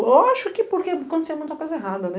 Eu acho que porque acontecia muita coisa errada, né?